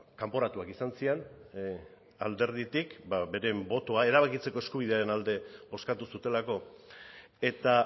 kanporatuak izan ziren alderditik beren botoa erabakitzeko eskubidearen alde bozkatu zutelako eta